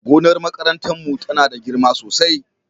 gonar makarantar mu tana da girma sosai